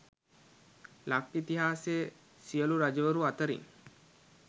ලක් ඉතිහාසයේ සියලු රජවරු අතරින්